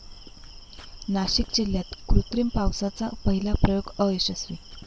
नाशिक जिल्ह्यात कृत्रिम पावसाचा पहिला प्रयोग अयशस्वी